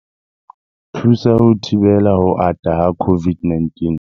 Thusa ho thibela ho ata ha COVID-19.